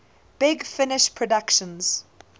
big finish productions